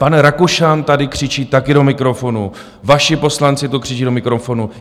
Pan Rakušan tady křičí taky do mikrofonu, vaši poslanci tu křičí do mikrofonu.